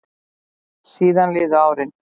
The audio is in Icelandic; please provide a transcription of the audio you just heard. Síðan liðu árin.